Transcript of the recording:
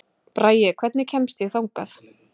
Bragi, hvernig kemst ég þangað?